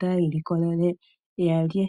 taya ilikolele ya lye.